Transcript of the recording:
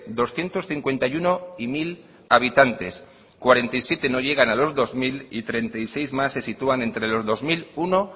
doscientos cincuenta y uno y mil habitantes cuarenta y siete no llegan a los dos mil y treinta y seis más se sitúan entre los dos mil uno